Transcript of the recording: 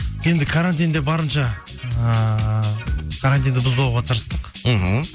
енді карантинде барынша ыыы карантинді бұзбауға тырыстық мхм